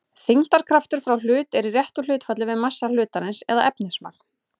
Þyngdarkraftur frá hlut er í réttu hlutfalli við massa hlutarins eða efnismagn.